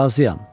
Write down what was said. Razıyam.